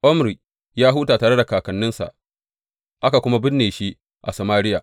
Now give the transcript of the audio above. Omri ya huta tare da kakanninsa, aka kuma binne shi a Samariya.